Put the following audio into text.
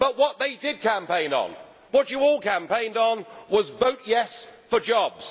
But what they did campaign on, what you all campaigned on, was Vote yes' for jobs'.